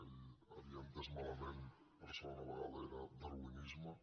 ell ho havia entès malament per segona vegada era darwinisme